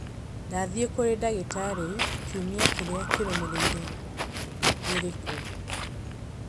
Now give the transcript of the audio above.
ndathiĩ kũrĩ ndagĩtarĩ kiumia kĩrĩa kĩrũmĩrĩire irĩ kũ?